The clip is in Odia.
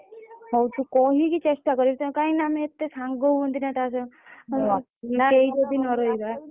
ହଉ ତୁ କହିକି ଚେଷ୍ଟା କରିବୁ କାହିଁକି ନା ଆମେ ଏତେ ସାଙ୍ଗ ହୁଅନ୍ତି ନା ତା ସହ ଆଉ କେହି ଯଦି ନ ରହିବା।